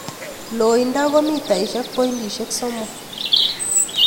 Loindo ko mitaisiek pointisiek somok.